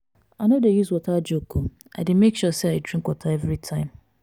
i no dey use water joke o i dey make sure sey i drink water everytime.